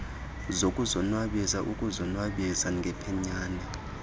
zokuzonwabisa ukuzonwabisa ngephenyane